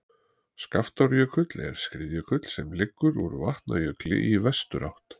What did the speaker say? skaftárjökull er skriðjökull sem liggur úr vatnajökli í vesturátt